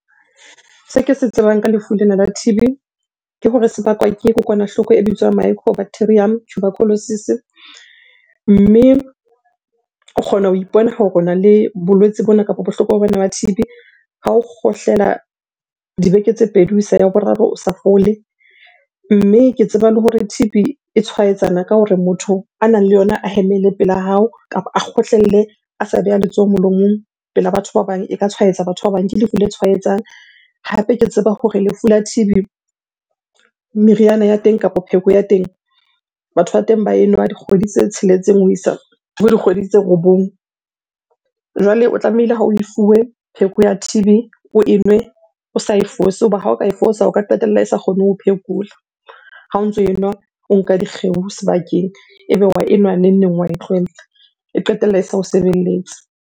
Se ke se tsebang ka lefu lena la T_B ke hore se bakwa ke kokwanahloko e bitswang microbacterium tuberculosis. Mme o kgona ho ipona hore ona le bolwetsi bona kapo bohloko bona ba T_B ha o kgohlela dibeke tse pedi ho isa ya boraro o sa fole. Mme ke tseba le hore T_B e tshwaetsana ka hore motho a nang le yona a hemele pela hao, kapa a kgohlelle a sa beha letsoho molomong pela batho ba bang, e ka tshwaetsa batho ba bang. Ke lefu le tshwaetsang hape ke tseba hore lefu la T_B, meriana ya teng kapa pheko ya teng batho ba teng ba enwa dikgwedi tse tsheletseng ho isa ho dikgwedi tse robong. Jwale o tlamehile ha oe fuwe pheko ya T_B oe nwe o sa e fose. Hoba ha o ka e fosa, o ka qetella e sa kgone ho phekola ha o ntso enwa o nka dikgeo sebakeng. Ebe wa enwa neng-neng wa e tlohella, e qetella e sa o sebeletse.